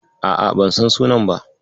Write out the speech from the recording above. A'a, ban san sunan ba.